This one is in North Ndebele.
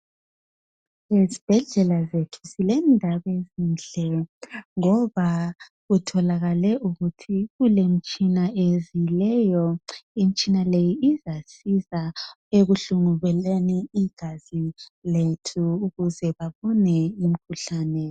Ezibhedlela zethu kulendaba ezinhle ngoba kutholakale imitshina ezileyo imitshina leyi isebenza ukuhlola igazi lethu ukuze baphungule umkhuhlane.